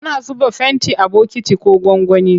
Ana zuba fenti a bokiti ko gwangwani.